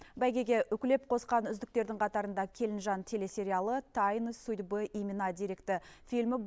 бәйгеге үкілеп қосқан үздіктердің қатарында келінжан телесериалы тайны судьбы имена деректі фильмі